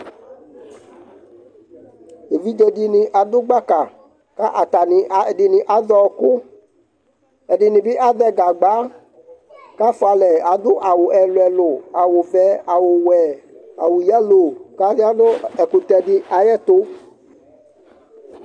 Evidze dɩnɩ adʋ gbaka kʋ atanɩ, ɛdɩnɩ azɛ ɔɣɔkʋ, ɛdɩnɩ bɩ azɛ gagba kʋ afʋa alɛ, adʋ awʋ ɛlʋ-ɛlʋ, awʋvɛ, awʋwɛ, awʋ yalo kʋ aya nʋ ɛkʋtɛ dɩ ayɛtʋ